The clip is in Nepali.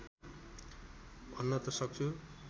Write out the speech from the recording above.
भन्न त सक्छु